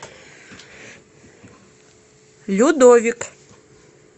людовик